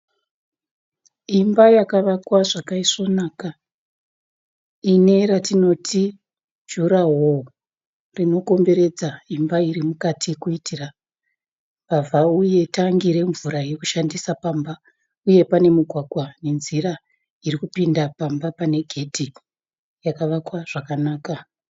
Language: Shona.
Imba yakavakwa zvakaisvonaka ine ratinoti juraworo rinokomberedza imba iri mukati kuitira mbavha, uye tangi remvura yekushandisa pamba. Uye pane mugwagwa wenzira iri kupinda pamba pakavakwa zvakanaka